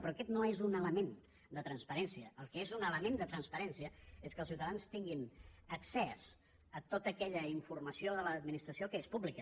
però aquest no és un element de transparència el que és un element de transparència és que els ciutadans tinguin accés a tota aquella informació de l’administració que és pública